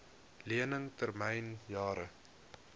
lening termyn jare